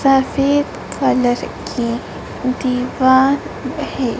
सफेद कलर की दीवार है।